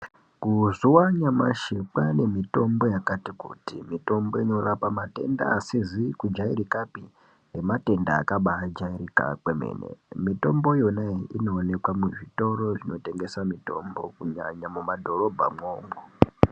Kuzuwa anyamashi kwane mitombo yakati kuti Mitombo inorapa matenda asizi kujairikapi nematenda akambajairika kwemene mitombo yona iyoyo inooneka muzvitoro zvinotengesa mitombo kunyanya mumadhorobha mwo imomo .